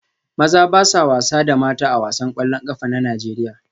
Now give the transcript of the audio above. Maza ba sa wasa da mata A wasan kwallon kafa na Najeriya